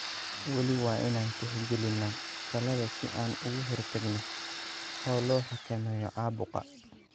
Weli waa inaan tixgelinnaa talada si aan uga hortagno oo loo xakameeyo caabuqa.